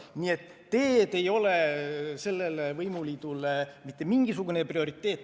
Nii et teed ei ole sellele võimuliidule mitte mingisugune prioriteet.